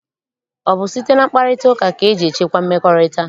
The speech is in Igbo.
Ọ bụ site na mkparịtaụka ka eji echekwa mmekọrịta?